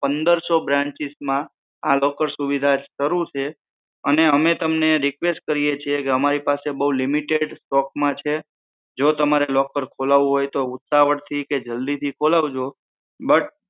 પંદરસો branches માં આ locker સુવિધા શરુ છે અને અમે તમને request કરીયે છીએ કે અમારી પાસે બહુ limited stock માં છે જો તમારે locker ખોલાવું હોય તો ઉતાવળ થી કે જલ્દી થી ખોલાવજો